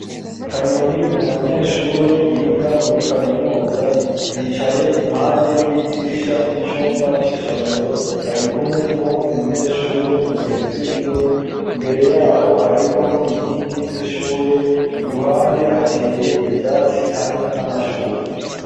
Kanyoni ni umunyeshure yiga muri kaminusa yicaye impande y'idirisha y'icumba c'isomero ari kumwe n'uwundi munyeshure mugenzi wiwe imbere yabo hariho inkingi z'ishure i ruhande hateye ivyatsi hamwe n'amashurwe.